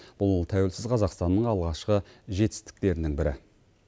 бұл тәуелсіз қазақстанның алғашқы жетістіктерінің бірі